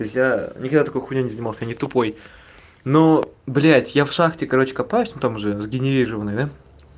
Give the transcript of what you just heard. то есть я никогда такой хуйней не занимался я не тупой но блядь я в шахте короче копаюсь ну там уже сгенерированной да